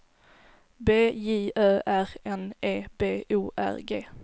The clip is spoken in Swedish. B J Ö R N E B O R G